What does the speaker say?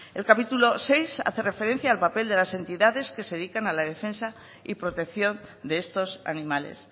el capítulo sexto hace referencia al papel de las entidades que se dedican a la defensa y protección de estos animales